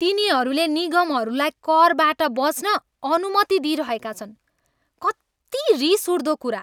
तिनीहरूले निगमहरूलाई करबाट बच्न अनुमति दिइरहेका छन्। कत्ति रिस उठ्दो कुरा।